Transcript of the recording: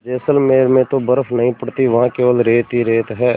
जैसलमेर में तो बर्फ़ नहीं पड़ती वहाँ केवल रेत ही रेत है